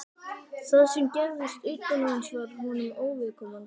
Það sem gerðist utan hans var honum óviðkomandi.